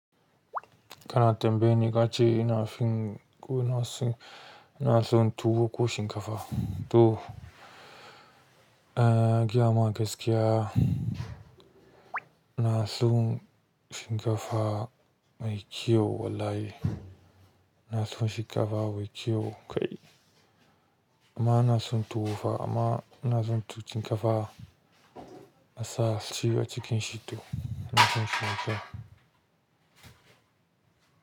Kana tambayi ni ka ce ina fin, ko na su, na son tuwo ko shinkafa? To, eh, giya ma gaskiya na son shinkafa mai kyau wallahi. Na son shinkafa mai kyau kai. Amma ina son tuwo, amma na son tu cin ƙafa na sa ciwa cikin shi to, in cin shi mai kyau.